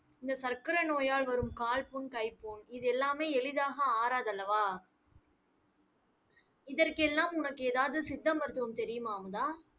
இந்த சர்க்கரை நோயால் வரும் கால்புண், கைப்புண் இது எல்லாமே எளிதாக ஆறாதல்லவா? இதற்கெல்லாம் உனக்கு ஏதாவது சித்த மருத்துவம் தெரியுமா அமுதா